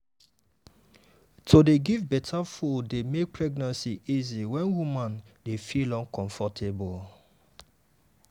to dey give better food dey make pregnancy easy when woman dey feel uncomfortable.